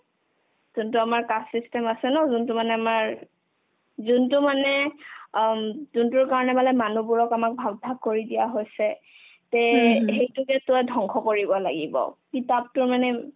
যোনতো আমাৰ caste system আছে ন যোনতো মানে আমাৰ যোনতো মানে আম্ যোনতোৰ কাৰণে মানে মানুহবোৰক আমাক ভাগ ভাগ কৰি দিয়া হৈছে তে সেইতোকেতো অ ধংস কৰিব লাগিব কিতাপতো মানে